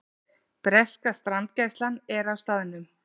Breska strandgæslan er á staðnum